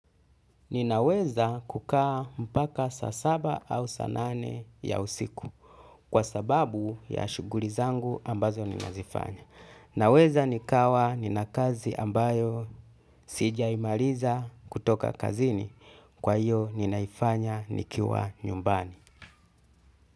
Ninaweza kukaa mpaka sa saba au sa nane ya usiku kwa sababu ya shuguli zangu ambazo ninazifanya. Naweza nikawa ninakazi ambayo sijaimaliza kutoka kazini kwa hiyo ninaifanya nikiwa nyumbani.